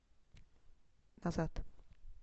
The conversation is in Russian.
назад